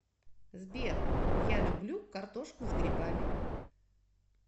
сбер я люблю картошку с грибами